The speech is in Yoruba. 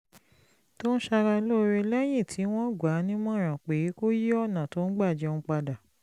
tó ń ṣara lóore lẹ́yìn tí wọ́n gbà á nímọ̀ràn pé kó yí ọ̀nà tó ń gbà jẹun padà